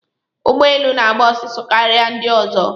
Ụgbọ elu na-agba ọsọ karịa ndị ọzọ.